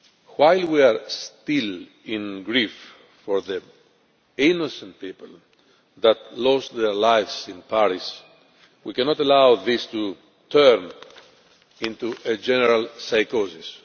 While we are still grieving for the innocent people who lost their lives in Paris, we cannot allow this to turn into a general psychosis.